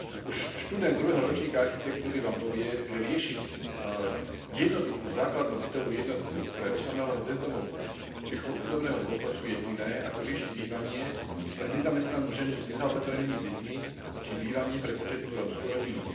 Už študent druhého ročníka architektúry vám povie, že riešiť jednoduchú základnú bytovú jednotku pre osamelého bezdomovca či chudobného dôchodcu je iné, ako riešiť bývanie pre nezamestnanú ženu s nezaopatrenými deťmi či bývanie pre početnú rómsku rodinu.